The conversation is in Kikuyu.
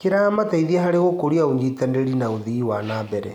Kĩrateithia harĩ gũkũria ũnyitanĩri wa ũthii wa na mbere.